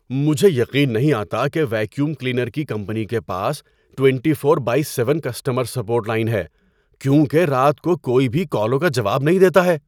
مجھے یقین نہیں آتا کہ ویکیوم کلینر کی کمپنی کے پاس twenty four by seven customer support line ہے کیونکہ رات کو کوئی بھی کالوں کا جواب نہیں دیتا ہے۔